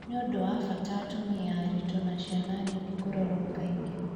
Nĩ ũndũ wa bata atumia aritũ na ciana nini kũrorwo kaĩngĩ